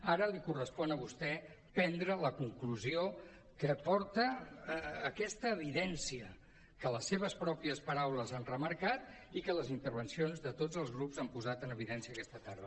ara li correspon a vostè prendre la conclusió a què porta aquesta evidència que les seves pròpies paraules han remarcat i que les intervencions de tots els grups han posat en evidència aquesta tarda